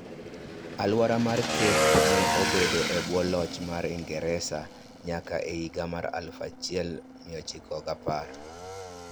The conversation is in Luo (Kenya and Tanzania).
Alwora mar Cape ne obedo e bwo loch mar Ingresa nyaka e higa 1910.